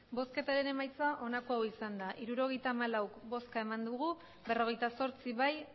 emandako botoak hirurogeita hamalau bai berrogeita zortzi ez